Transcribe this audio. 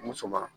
Muso ma